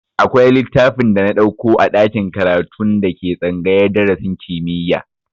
Akwai littafin da na ɗauko a ɗakin karatun da ke tsangayar darasin kimiyya